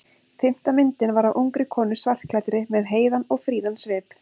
Fimmta myndin var af ungri konu skartklæddri með heiðan og fríðan svip.